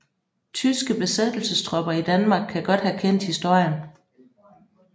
Tyske besættelsestropper i Danmark kan godt have kendt historien